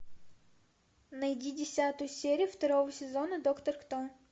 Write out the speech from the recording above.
найди десятую серию второго сезона доктор кто